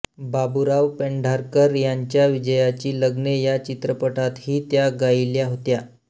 बाबूराव पेंढारकर यांच्या विजयाची लग्ने या चित्रपटातही त्या गायिल्या होत्या